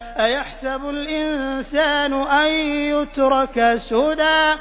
أَيَحْسَبُ الْإِنسَانُ أَن يُتْرَكَ سُدًى